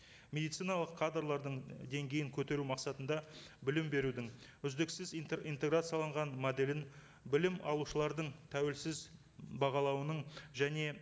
медициналық кадрлардың деңгейін көтеру мақсатында білім берудің үздіксіз интеграцияланған моделін білім алушылардың тәуелсіз бағалауының және